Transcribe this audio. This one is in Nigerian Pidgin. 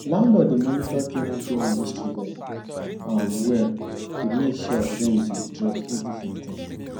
landlord dey monitor ten ant payment history well um well to make sure rent dey drop every fifteen